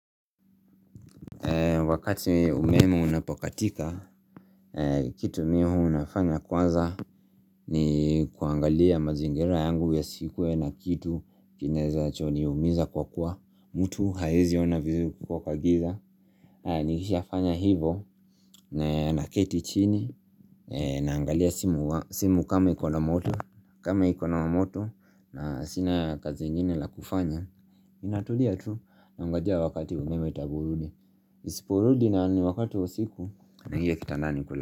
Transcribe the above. Wakati umeme unapokatika, kitu mimi huwa nafanya kwanza ni kuangalia mazingira yangu ya siku iwe na kitu kinacho niumiza kwa kuwa mtu hawezi ona vizuri ukiwa kwa giza Nikishafanya hivyo, naketi chini, naangalia simu kama iko na moto na sina kazi ingine la kufanya Ninatulia tu, nangoja wakati umeme itaporudi Isiporudi na ni wakati wa usiku, naingia kitandani kulala.